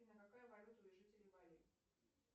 афина какая валюта у жителей бали